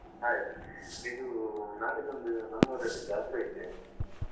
Hai ಇದು ನಾಡಿದ್ದು ಒಂದು ನಮ್ಮೂರಲ್ಲಿ ಜಾತ್ರೆ ಇದೆ.